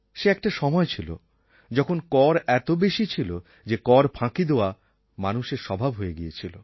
সে একটা সময় ছিল যখন কর এত বেশি ছিল যে কর ফাঁকি দেওয়া মানুষের স্বভাব হয়ে গিয়েছিল